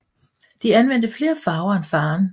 De anvendte flere farver end faderen